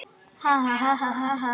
Sammála því?